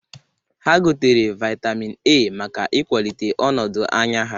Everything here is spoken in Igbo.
Ha gotere vaịtamin A maka ịkwalite ọnọdụn anya ha.